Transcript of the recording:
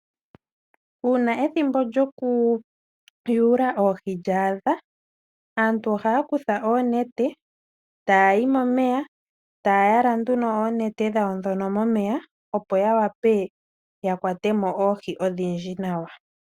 Uuna ethimbo lyoku yuula oohi lya adha aantu ohaya kutha oonete, taya yi momeya, taya yala nduno oonete dhawo dhono momeya opo yawape yakwatemo oohi odhindji nawa.